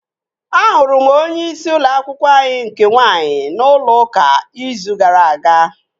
Ahụrụ m onyeisi ụlọ akwụkwọ anyị nke nwaanyị n'ụlọ ụka izu gara aga